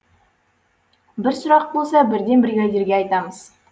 бір сұрақ болса бірден бригадирге айтамыз